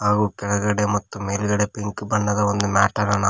ಹಾಗೂ ಕೆಳಗಡೆ ಮತ್ತು ಮೇಲ್ಗಡೆ ಪಿಂಕ್ ಬಣ್ಣದ ಒಂದು ಮ್ಯಾಟ್ ಅನ್ನ ನಾವು--